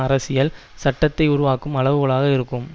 அரசியல் சட்டத்தை உருவாக்கும் அளவுகோலாக இருக்கும்